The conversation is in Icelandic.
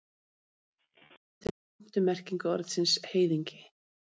Eitthvað svipað gildir um fimmtu merkingu orðsins heiðingi.